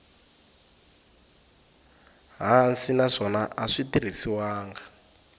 hansi naswona a swi tirhisiwangi